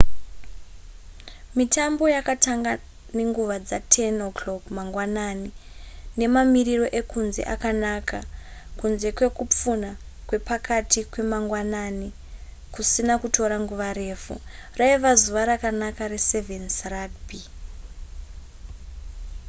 mitambo yakatanga nenguva dza10:00 mangwanani nemamiriro ekunze akanaka kunze kwekupfunha kwepakati kwemagwanani kusina kutora nguva refu raiva zuva rakanaka re7's rugby